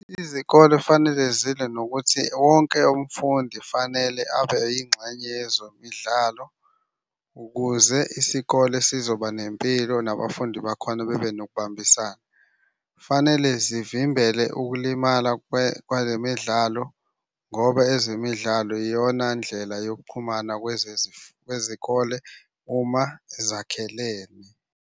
Izikole fanele zilwe nokuthi wonke umfundi fanele abe yingxenye yezomidlalo ukuze isikole sizoba nempilo nabafundi bakhona bebe nokubambisana. Fanele zivimbela ukulimala kwezemidlalo ngoba ezemidlalo iyona ndlela yokuxhumana kwezikole uma zakhelene.